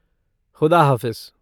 खुदा हाफ़िज़।